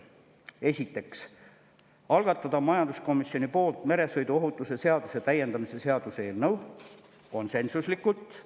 Esiteks, algatada majanduskomisjoni poolt meresõiduohutuse seaduse täiendamise seaduse eelnõu – konsensuslikult.